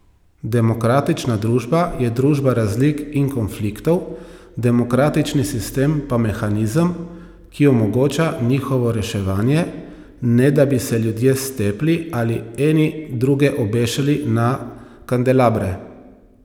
Demokratična družba je družba razlik in konfliktov, demokratični sistem pa mehanizem, ki omogoča njihovo reševanje, ne da bi se ljudje stepli ali eni druge obešali na kandelabre.